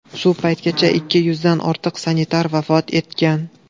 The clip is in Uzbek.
Shu paytgacha ikki yuzdan ortiq sanitar vafot etgan.